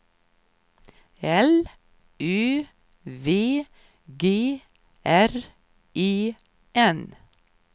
L Ö V G R E N